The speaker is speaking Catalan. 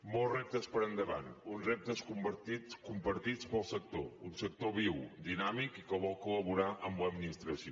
molts reptes per endavant uns reptes compartits pel sector un sector viu dinàmic i que vol collaborar amb l’administració